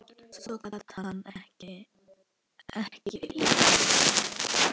Svona gat hann ekki lifað.